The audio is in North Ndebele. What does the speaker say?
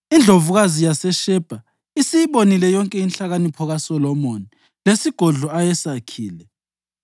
Indlovukazi yaseShebha isiyibonile yonke inhlakanipho kaSolomoni lesigodlo ayesakhile,